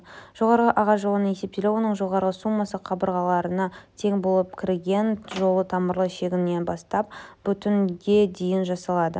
жоғарғы ағаш жолының есептелуі оның жоғарғы суммасы қабырғаларына тең болып кірген жолы тамырлы шегінен бастап бүтінге дейін жалғасады